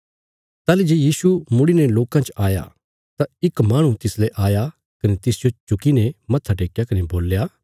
ताहली जे यीशु मुड़ीने लोकां च आया तां इक माहणु तिसले आया कने तिसजो झुकीने मत्था टेक्कया कने बोल्या